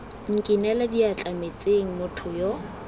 nkinele diatla metsing motho yo